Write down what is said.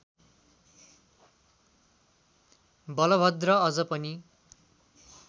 बलभद्र अझ पनि